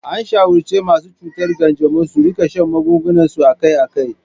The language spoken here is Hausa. An shawarci masu cutar kanjamau su rika shan magungunansu akai-akai.